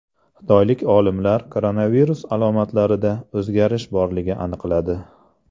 Xitoylik olimlar koronavirus alomatlarida o‘zgarish borligini aniqladi.